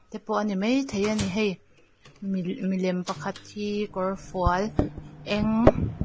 te pawh a ni maithei a ni hei mi milem pakhat hi kawrfual eng.